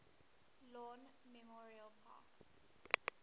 lawn memorial park